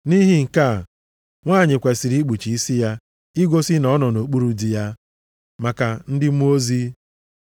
Nʼihi nke a, nwanyị kwesiri ikpuchi isi ya igosi na ọ nọ nʼokpuru di ya, maka ndị mmụọ ozi.